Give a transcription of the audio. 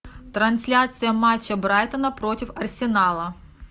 трансляция матча брайтона против арсенала